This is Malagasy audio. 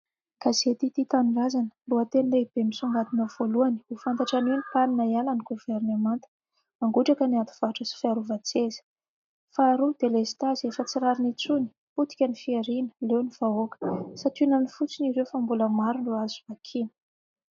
Gazety tia tanindrazana. Lohateny lehibe misongadina voalohany : ho fantatra anio ny pan ! hiala ny governemanta. Mangotraka ny ady varotra sy fiarovan-tseza. Faharoa delestazy, efa tsy rariny intsony. Potika ny fihariana, leo ny vahoaka. Sationany fotsiny ireo fa mbola maro ireo azo vakiana.